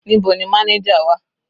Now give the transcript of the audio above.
Níbo ni manager wà?